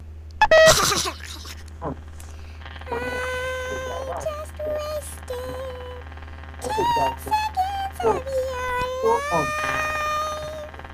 um ó ní àwọn gbé ìyá àwọn lọ sí òsíbitì náà kó lè gba ìtọ́jú kó um sì tún sinmi díẹ̀